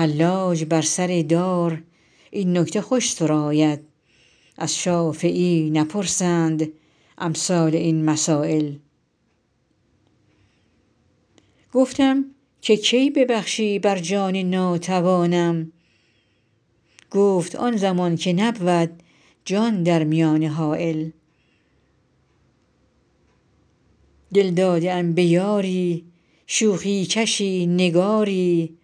حلاج بر سر دار این نکته خوش سراید از شافعی نپرسند امثال این مسایل گفتم که کی ببخشی بر جان ناتوانم گفت آن زمان که نبود جان در میانه حایل دل داده ام به یاری شوخی کشی نگاری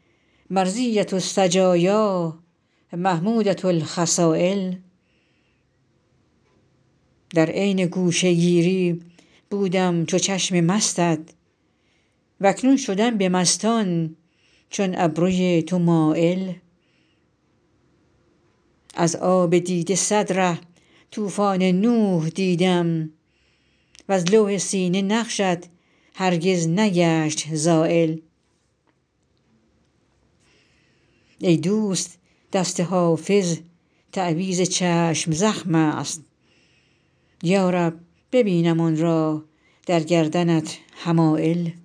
مرضیة السجایا محمودة الخصایل در عین گوشه گیری بودم چو چشم مستت و اکنون شدم به مستان چون ابروی تو مایل از آب دیده صد ره طوفان نوح دیدم وز لوح سینه نقشت هرگز نگشت زایل ای دوست دست حافظ تعویذ چشم زخم است یا رب ببینم آن را در گردنت حمایل